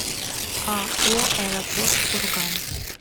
ао аэропорт курган